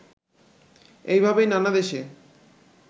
এইভাবেই নানা দেশে